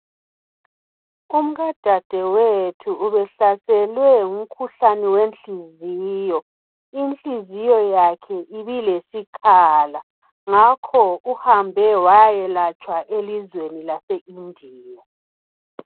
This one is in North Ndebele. Umkadadewethu ubehlaselwe ngumkhuhlane wenhliziyo inhliziyo yakhe ibilesikhala ngakho uhambe wayakwelatshwa elizweni lase India